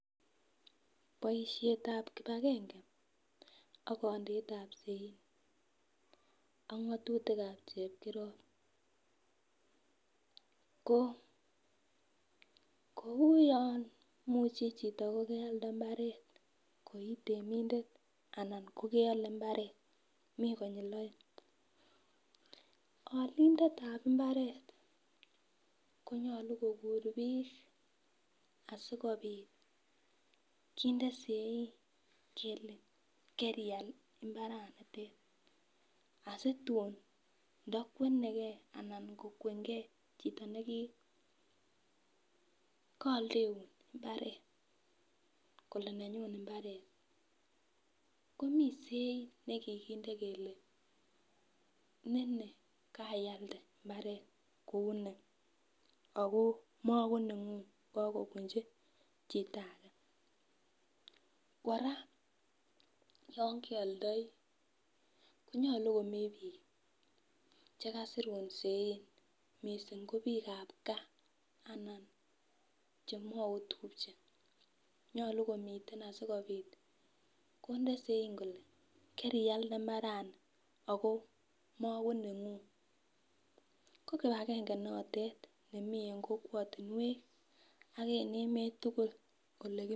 Boishetab kipagenge ak kondetab sein ak ngotutikab chepkirop ko kou yon imuche chito ko kealde imbaret koi temindet koi temindet anan ko keole imbaret mii konyilu oeng. Olindetab imbaret konyolu kokur bik asikopit kinde sein kele kerial imabaranotet asitun ndo kwenegee anan kokwengee chito nekikooldeun imbaret kole nenyun imbaret komii sein nekikinde ile nini keialde imbaret kou nii Ako makonengun kokobunchi chito age. Koraa yon keoldoi konyolu komii bik chekasirun sein missing ko bikab gaa anan chemoi otupche nyolu komiten asikopit konde sein kole kerialde imbarani ako mokonenguny, ko kipagenge notet nemii en kokwotunwek ak en emet tukuk oleki.